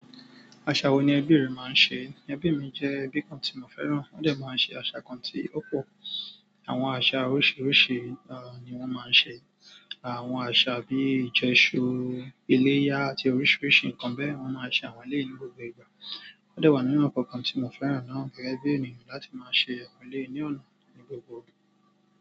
Àṣà wo ni ẹbí rẹ máa ń ṣe? Ẹbí mi jẹ́ ẹbí kan tí mo fẹ́ràn. Wọ́n dẹ̀ máa ń ṣe àṣà kan tí ó pọ̀. Àwọn àṣà oríṣiríṣi ni wọ́n máa ń ṣe. Àwọn àṣà bí ìjẹ́ṣu iléyá àti oríṣiríṣi nǹkan bẹ́ẹ̀, wọ́n máa ń ṣe àwọn ilé ní gbogbo ìgbà. Ó dẹ̀ wà nínú àwọn nǹkan tí mo fẹ́ràn náà gẹ́gẹ́ bí ènìyàn láti máa ṣe àwọn ilé ní ọ̀nà ní gbogbo òru.